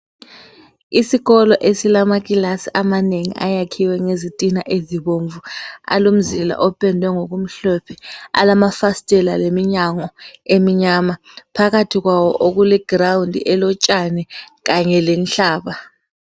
Isikolo esilaclass amanengi ayakhiwe ngezitina ezibomvu alomzila opendwe ngokumhlophe alamafastela leminyango eminyama phakathi kwawo kuleground elotshani kanye lenhlaba